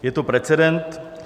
Je to precedent.